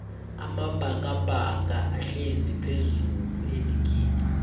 amabhakabhaka ahlezi phezullu eligini